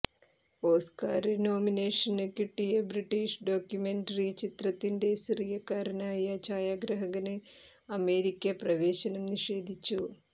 Oscar nomination കിട്ടിയ British documentary ചിത്രത്തിന്റെ സിറിയക്കാരനായ ഛായാഗ്രാഹകന് അമേരിക്ക പ്രവേശനം നിഷേധിച്ചു